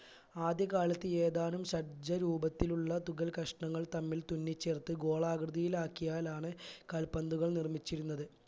ആദ്യ കാലത്ത് ഏതാനും ഷഡ്ജ രൂപത്തിലുള്ള തുകൽ കഷ്ണങ്ങൾ തമ്മിൽ തുന്നി ചേർത്ത് ഗോളാകൃതിയിലാക്കിയാലാണ് കാൽ പന്തുകൾ നിർമിച്ചിരുന്നത്